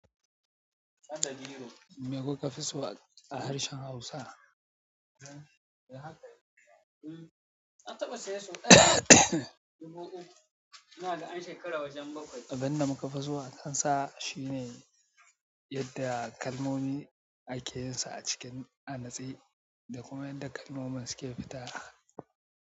Me kuka fi so a harshen Hausa? Abin da mu ka fi so a kan sa shi ne yadda kalmomi ake yin su a cikin a natse. Da kuma yadda kalmomin suke fita.